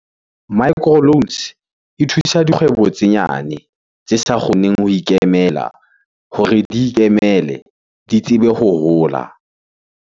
Micro loans e thusa dikgwebo tse nyane tse sa kgoneng ho ikemela hore di ikemele di tsebe ho hola.